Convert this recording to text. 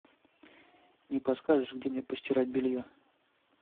не подскажешь где мне постирать белье